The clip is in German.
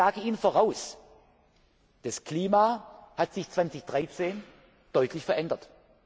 Denn ich sage Ihnen voraus, das Klima hat sich 2013 deutlich verändert.